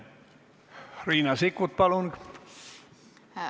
Riina Sikkut, palun!